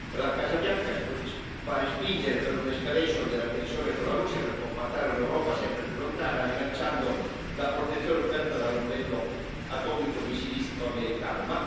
La Casa Bianca pare spingere per un'escalation della tensione con la Russia per compattare un'Europa sempre più lontana, rilanciando la protezione offerta dall'ombrello atomico missilistico americano.